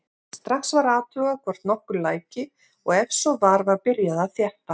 Strax var athugað hvort nokkuð læki og ef svo var var byrjað að þétta.